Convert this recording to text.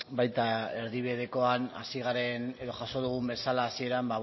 baita erdibidekoan hasi garen edo jaso dugun bezala hasieran